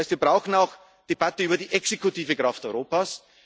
Das heißt, wir brauchen auch eine Debatte über die exekutive Kraft Europas.